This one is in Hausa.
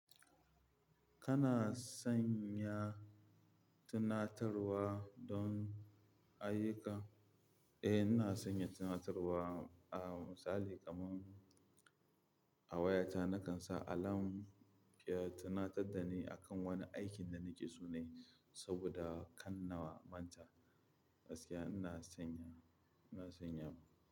Kana sanya tunatarwa don ayyuka? Eh, ina sanya tunatarwa. Ah misali kaman a wayata nakan sa alarm ya tunatar da ni akan wani aikin da nake so na yi saboda kan na manta. Gaskiya ina sanya, ina sanyawa.